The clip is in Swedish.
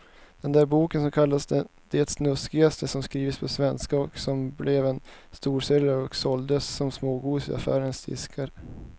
Den där boken som kallades det snuskigaste som skrivits på svenska och som blev en storsäljare och såldes som smågodis i affärernas diskar.